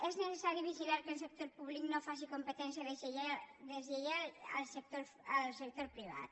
és necessari vigilar que el sector públic no faci competència deslleial al sector privat